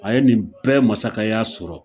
A ye nin bɛɛ masakɛya sɔrɔ